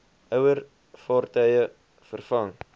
ouer vaartuie vervang